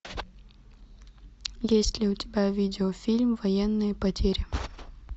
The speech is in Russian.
есть ли у тебя видеофильм военные потери